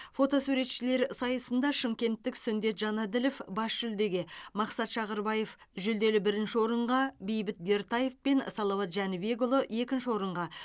фотосуретшілер сайысында шымкенттік сүндет жанаділов бас жүлдеге мақсат шағырбаев жүлделі бірінші орынға бейбіт бертаев пен салауат жәнібекұлы екінші орынға